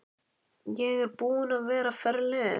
Ég er búin að vera ferleg.